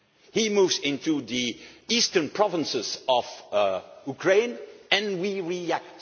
and we react he moves into the eastern provinces of Ukraine